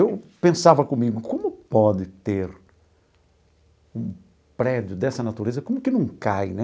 Eu pensava comigo, como pode ter um prédio dessa natureza, como que não cai, né?